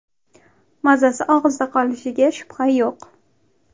Mazasi og‘izda qolishiga shubha yo‘q.